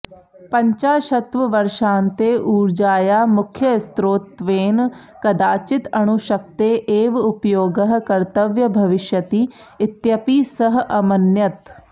पञ्चाशत्वर्षान्ते ऊर्जायाः मुख्यस्रोतत्वेन कदाचित् अणुशक्तेः एव उपयोगः कर्तव्यः भविष्यति इत्यपि सः अमन्यत